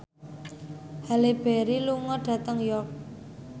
Halle Berry lunga dhateng York